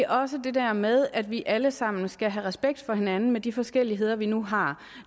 også det der med at vi alle sammen skal have respekt for hinanden med de forskelligheder vi nu har